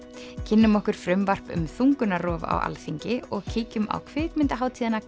kynnum okkur frumvarp um þungunarrof á Alþingi og kíkjum á kvikmyndahátíðina